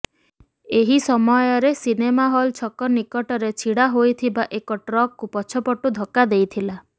ଏହି ସମୟରେ cinema hall ଛକ ନିକଟରେ ଛିଡା ହୋଇଥିବା ଏକ ଟ୍ରକକୁ ପଛପଟୁ ଧକ୍କା ଦେଇଥିଲା